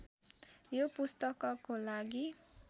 यो पुस्तकको लागि